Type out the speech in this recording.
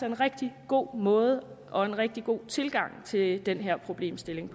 en rigtig god måde og en rigtig god tilgang til den her problemstilling